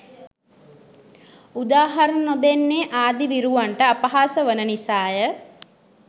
උදාහරණ නොදෙන්නේ ආදී විරුවන්ට අපහාස වන නිසාය